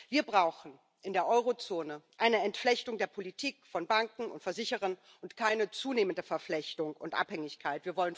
Wir brauchen in der Euro Zone eine Entflechtung der Politik von Banken und Versicherern und keine zunehmende Verflechtung und Abhängigkeit.